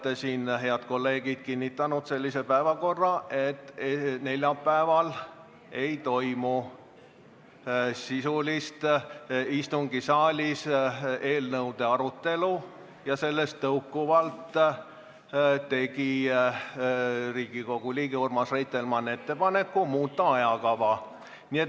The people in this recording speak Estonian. Te ise, head kolleegid, olete siin kinnitanud sellise päevakorra, et neljapäeval istungisaalis eelnõude sisulist arutelu ei toimu, ja sellest tõukuvalt tegi Riigikogu liige Urmas Reitelmann ettepaneku muuta ajakava.